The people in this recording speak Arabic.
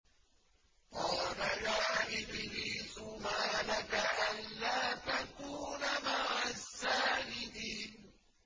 قَالَ يَا إِبْلِيسُ مَا لَكَ أَلَّا تَكُونَ مَعَ السَّاجِدِينَ